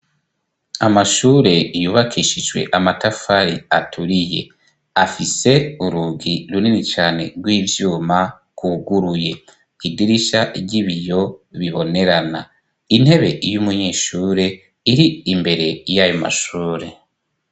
Amashure yubakishijwe amatafari aturiye afise urugi runini cane rw'ivyuma rwuguruye idirisha ry'ibiyo bibonerana intebe y'umunyeshure iri imbere y'ayo mashure.